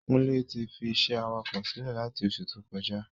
Kúnlé ti fi isé awakọ̀ silẹ lati oṣù tó kọjá